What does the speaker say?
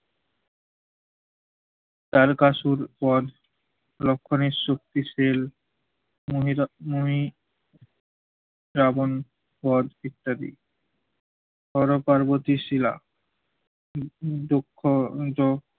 তার্কাসুর বধ, লক্ষ্মণের শক্তিশীল, মোহিতা মহি, রাবণ বধ ইত্যাদি। ধরো পার্বতীর শীলা, দো~ দো~দক্ষ যও